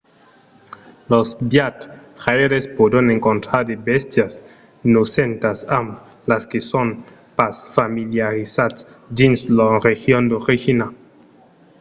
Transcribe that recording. los viatjaires pòdon encontrar de bèstias nosentas amb las que son pas familiarizats dins lors regions d’origina